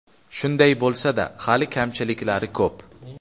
Shunday bo‘lsa-da, hali kamchiliklari ko‘p.